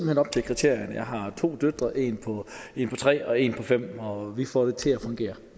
hen op til kriterierne jeg har to døtre en på tre og en på fem år og vi får det til at fungere